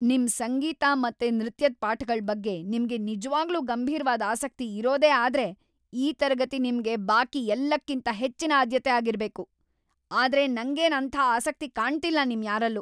ನಿಮ್ ಸಂಗೀತ ಮತ್ತೆ ನೃತ್ಯದ್‌ ಪಾಠಗಳ್‌ ಬಗ್ಗೆ ನಿಮ್ಗೆ ನಿಜ್ವಾಗ್ಲೂ ಗಂಭೀರ್ವಾದ್ ಆಸಕ್ತಿ ಇರೋದೇ ಆದ್ರೆ ಈ ತರಗತಿ ನಿಮ್ಗೆ ಬಾಕಿ ಎಲ್ಲಕ್ಕಿಂತ ಹೆಚ್ಚಿನ ಆದ್ಯತೆ ಆಗಿರ್ಬೇಕು. ಆದ್ರೆ ನಂಗೇನ್‌ ಅಂಥ ಆಸಕ್ತಿ ಕಾಣ್ತಿಲ್ಲ ನಿಮ್ ಯಾರಲ್ಲೂ!